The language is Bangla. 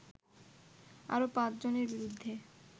আরো পাঁচ জনের বিরুদ্ধে